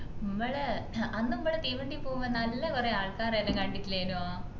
മ്മളെ അന്ന് മ്മള് തീവണ്ടി ലു പോവുമ്പോ നല്ല കൊറേ ആൾക്കാരെ എല്ലാം കണ്ടിട്ലെനോ